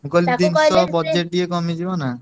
ମୁଁ କହିଲି budget ଟିକେ କମିଯିବ ନା।